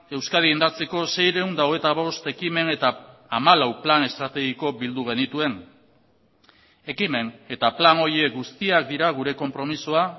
euskadi indartzeko seiehun eta hogeita bost ekimen eta hamalau plan estrategiko bildu genituen ekimen eta plan horiek guztiak dira gure konpromisoa